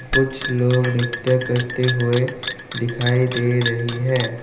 कुछ लोग नृत्य करते हुए दिखाई दे रही है।